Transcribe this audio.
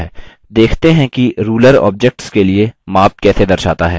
देखते हैं कि ruler objects के लिए माप कैसे दर्शाता है